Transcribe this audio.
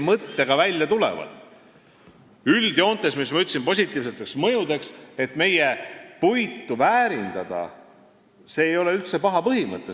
Üldjoontes ma ütleksin positiivsest mõjust rääkides, et soov meie puitu väärindada ei ole üldse paha põhimõte.